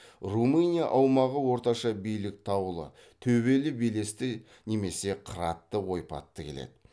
румыния аумағы орташа биік таулы төбелі белесті немесе қыратты ойпатты келеді